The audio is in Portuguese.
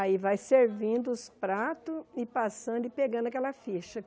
Aí vai servindo os pratos e passando e pegando aquela ficha.